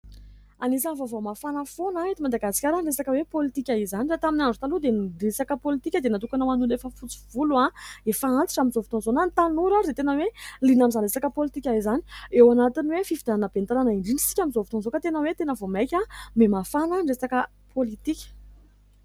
Anisan'ny vaovao mafana foana eto Madagasikara ny resaka hoe politika, izany raha tamin'ny andro taloha dia ny resaka politika dia natokana ho an'ny olona efa fotsy volo ary efa antitra amin'izao fotoana izao na ny tanora aza dia tena hoe liana amin'izany resaka politika izany, eo anatiny hoe fifidianana ben'ny tanàna indrindra isika amin'izao fotoana aoka tena hoe tena vao maika ho mia mafana ny resaka politika.